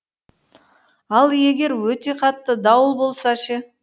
ал егер өте қатты дауыл болса ше